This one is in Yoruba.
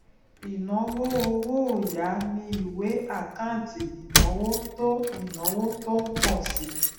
ìnáwó owó òyà ni ìwé àkáǹtì ìnáwó tó ìnáwó tó ń pọ si